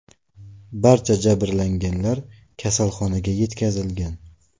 Barcha jabrlanganlar kasalxonaga yetkazilgan.